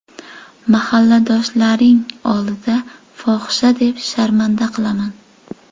Mahalladoshlaring oldida fohisha deb sharmanda qilaman!